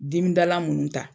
Dimidala munnu ta